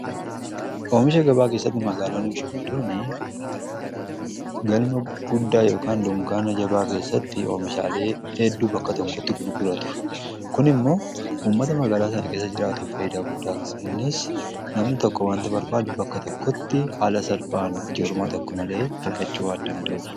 oomisha gabaa keessatti magaaloonni gurguddoon galma guddaa yka dungaana jabaa keessatti oomishaaleen hedduu bakka tokkotti gurguraatu, kun immoo ummata magaalaa sana keessa jiraatu fayidaa guddaa qaba. innis namni tokko wanta barbaadu bakka tokkotti haala salphaan yerooma tokko argachuu waan danda'uf.